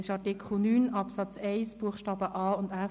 Das steht in Artikel 9 Absatz 1 Buchstabe a bis f